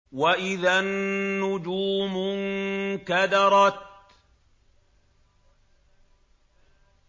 وَإِذَا النُّجُومُ انكَدَرَتْ